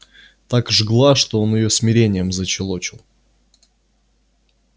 так жгла что он её смирением защелочил